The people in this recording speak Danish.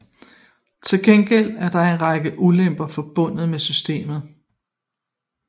Til gengæld er der en række ulemper forbundet med systemet